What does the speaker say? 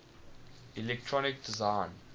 electronic design